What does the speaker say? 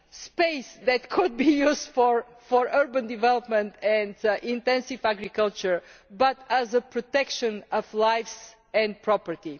as space that could be used for urban development and intensive agriculture, but as a means of protection of lives and property.